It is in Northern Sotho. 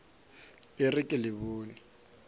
e re ke le bone